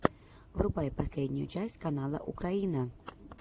врубай последнюю часть канала украина